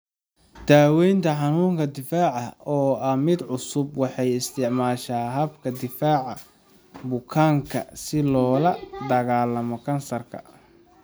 Daweynta xanunka difaaca oo ah mid cusub, waxay isticmaashaa habka difaaca bukaanka si loola dagaallamo kansarka.